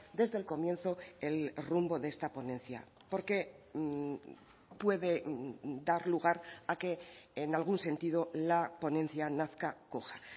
desde el comienzo el rumbo de esta ponencia porque puede dar lugar a que en algún sentido la ponencia nazca coja